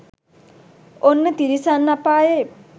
ඔන්න තිරිසන් අපායේ